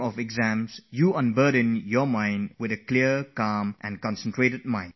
Decide upon clear thinking, focus your mind wholly and go sit for the exam